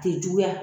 Te juguya